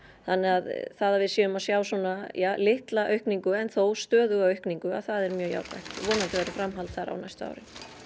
þannig að það að við séum að sjá svona ja litla aukningu en þó stöðuga aukningu það er mjög jákvætt vonandi verður framhald þar á næstu árin